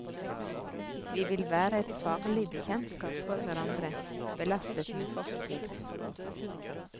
Vi vil være et farlig bekjentskap for hverandre, belastet med fortid.